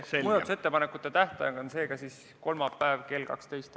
Muudatusettepanekute tähtaeg on kolmapäev kell 12.